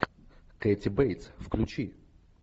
кэти бейтс включи